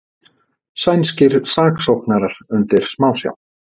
Sænskir saksóknarar undir smásjá